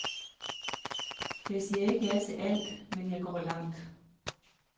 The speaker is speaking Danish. Jeg siger ikke ja til alt, men jeg går langt.